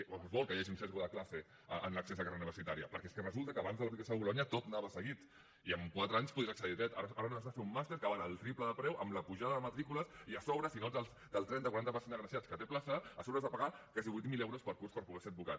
o es vol que hi hagi un biaix de classe en l’accés a carrera universitària perquè és que resulta que abans de l’aplicació de bolonya tot anava seguit i en quatre anys podies accedir al dret ara no has de fer un màster que val el triple de preu amb la pujada de matrícules i a sobre si no ets del trenta quaranta per cent d’agraciats que té plaça has de pagar quasi vuit mil euros per curs per poder ser advocat